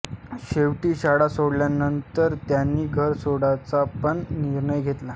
शॆवटी शाळा सोडल्यानंतर त्यांनी घर सोडायचा पण निर्णय घेतला